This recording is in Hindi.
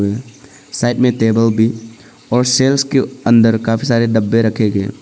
साइड में टेबल भी और शेल्व्स के अंदर काफी सारे डब्बे रखे गए।